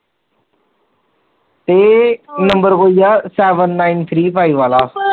ਇਹ ਨੰਬਰ ਓਹੀ ਆ seven nine three five ਵਾਲਾ